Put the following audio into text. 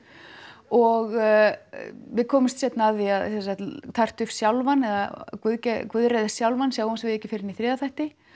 og við komumst seinna að því að sjálfan eða Guðreið sjálfan sjáum við ekki fyrr en í þriðja þætti